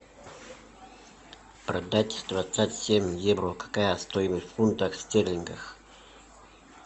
продать двадцать семь евро какая стоимость в фунтах стерлингов